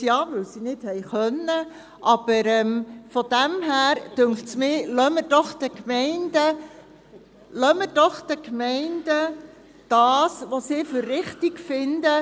Daher, ja, weil sie nicht konnten, finde ich, dass wir es den Gemeinden überlassen sollten, was diese für richtig finden.